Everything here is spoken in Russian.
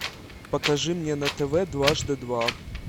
покажи мне на тв дважды два